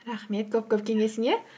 рахмет көп көп кеңесіне